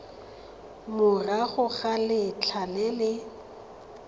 morago ga letlha le le